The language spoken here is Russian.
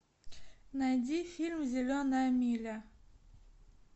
найди фильм зеленая миля